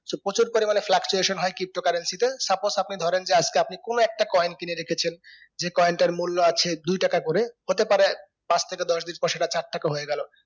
so প্রচুর পরিমানে fluctuation হয় কি pto currency তে suppose আপনি ধরেন যে আজকে আপনি কোনো একটা coin কিনে রেখেছেন যে coin তার মূল্য আছে দুই টাকা করে হতে পারে পাঁচ থেকে দশ দিন পর সেটা চার টাকা হয়ে গেলো